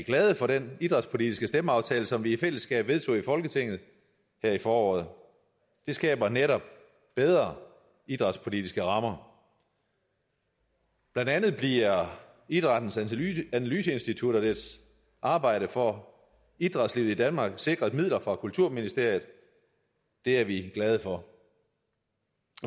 glade for den idrætspolitiske stemmeaftale som vi i fællesskab vedtog i folketinget her i foråret den skaber netop bedre idrætspolitiske rammer blandt andet bliver idrættens analyseinstitut og dets arbejde for idrætslivet i danmark sikret midler fra kulturministeriet og det er vi glade for